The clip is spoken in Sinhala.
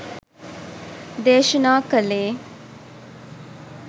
දේශනා කලේ.